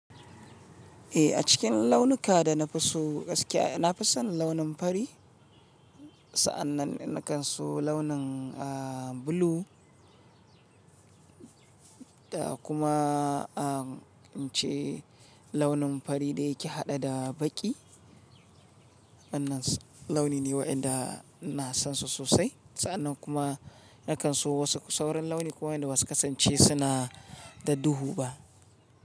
Eh, a cikin launuka da na fi so gaskiya na fi son launin fari. Sa'annan nakan so launin, ah, blue, da kuma, ah, in ce launin fari da ya ke haɗe da baƙi. Wannan launi ne wa'yanda ina san su sosai. Sa'annan kuma nakan so wasu sauran launi kuma wayanda ba su kasance suna da duhu ba.